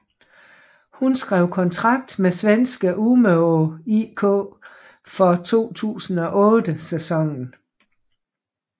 Hun skrev kontrakt med svenske Umeå IK for 2008 sæsonen